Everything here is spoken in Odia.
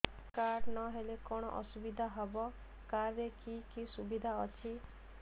କାର୍ଡ ନହେଲେ କଣ ଅସୁବିଧା ହେବ କାର୍ଡ ରେ କି କି ସୁବିଧା ଅଛି